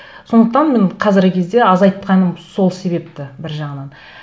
сондықтан мен қазіргі кезде азайтқаным сол себепті бір жағынан